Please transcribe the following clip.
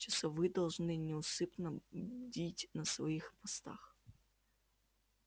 часовые должны неусыпно бдить на своих постах